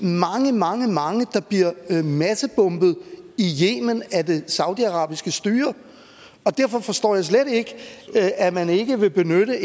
mange mange der bliver massebombet i yemen af det saudiarabiske styre derfor forstår jeg slet ikke at man ikke vil benytte